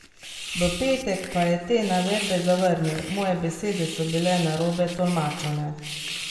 V petek pa je te navedbe zavrnil: "Moje besede so bile narobe tolmačene.